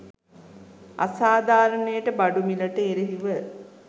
අසාධාරණයට බඩු මිලට එරෙහිව